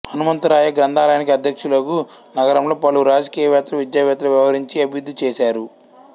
హనుమంతరాయ గ్రంథాలయానికి అధ్యక్షులుగు నగరంలో పలువురు రాజకీయవేత్తలు విద్యావేత్తలు వ్యవహరించి అభివృద్ధి చేశారు